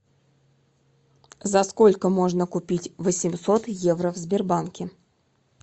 за сколько можно купить восемьсот евро в сбербанке